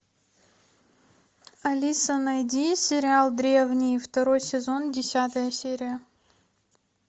алиса найди сериал древние второй сезон десятая серия